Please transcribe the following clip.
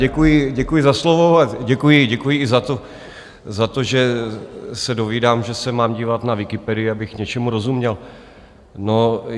Děkuji za slovo a děkuji i za to, že se dovídám, že se mám dívat na Wikipedii, abych něčemu rozuměl.